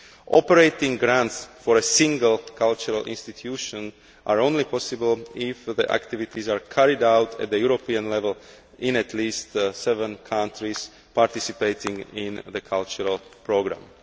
Operating grants for a single cultural institution are only possible if the activities are carried out at European level in at least seven countries participating in the cultural programme.